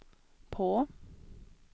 på